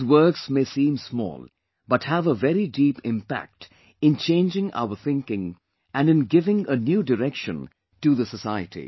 These works may seem small but have a very deep impact in changing our thinking and in giving a new direction to the society